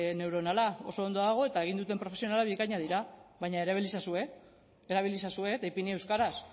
neuronala oso ondo dago eta egin duten profesionalak bikainak dira baina erabili ezazue erabili ezazue eta ipini euskaraz